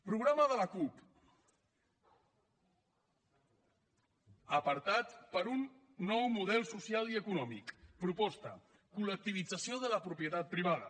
programa de la cup apartat per un nou model social i econòmic proposta col·lectivització de la propietat privada